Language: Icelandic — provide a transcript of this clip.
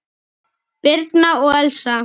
Birna og Elsa.